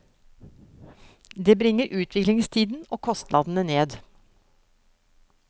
Det bringer utviklingstiden og kostnadene ned.